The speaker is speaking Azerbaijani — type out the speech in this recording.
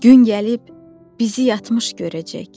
Gün gəlib bizi yatmış görəcək.